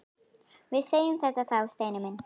Við segjum þetta þá, Steini minn!